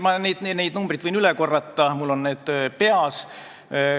Ma võin need numbrid üle korrata, mul on need peas.